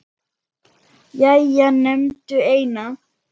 Jæja, nefndu eina